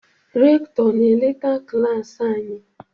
Rektọr na-eleta klas anyị.